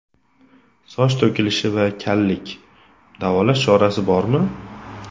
Soch to‘kilishi va kallik: davolash chorasi bormi?!.